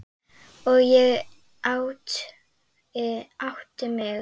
Og ég átti mig.